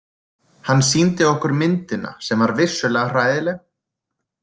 Hann sýndi okkur myndina sem var vissulega hræðileg.